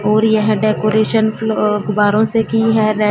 और यह डेकोरेशन फ़्ल अखबारों की है रे--